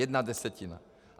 Jedna desetina.